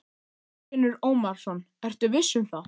Þorfinnur Ómarsson: Ertu viss um það?